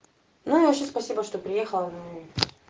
ну вообще спасибо что приехала ну и